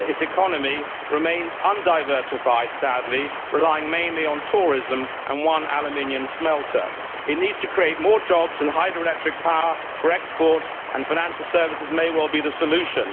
Its economy remains undiversified sadly relying mainly on tourism and one aluminium smelter. It needs to create more jobs in hydroelectric power for export, and financial services may well be another solution.